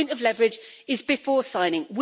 The point of leverage is before signing.